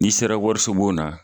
N'i sera warisobon na